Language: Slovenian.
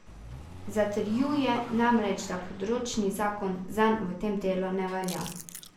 Zatrjuje namreč, da področni zakon zanj v tem delu ne velja.